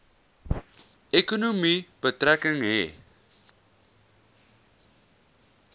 ekonomie betrekking hê